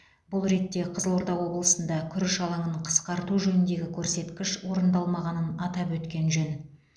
бұл ретте қызылорда облысында күріш алаңын қысқарту жөніндегі көрсеткіш орындалмағанын атап өткен жөн